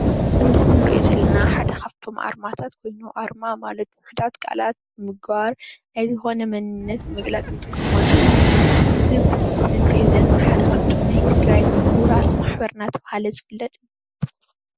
እዚ ኣብ ምስሊ እንሪኦ ዘለና ሓደ ካብቶም ኣርማታት ኮይኑ ኣርማ ማለት ውሕዳት ቃላት ብምግባር ናይ ዝኮነ መንነት ንምግላፅ እንጥቀመሉ እዩ፡፡ እዚ ኣብ ምስሊ እንሪኦ ዘለና ሓደ ካብቶም ናይ ትግራይ ሙሁራት ማሕበር እንዳተባሃለ ዝፍለጥ እዩ፡፡